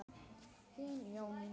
Þín Jónína.